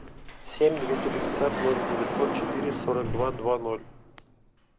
семь двести пятьдесят ноль девятьсот четыре сорок два два ноль